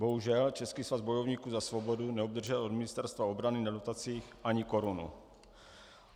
Bohužel, Český svaz bojovníků za svobodu neobdržel od Ministerstva obrany na dotacích ani korunu.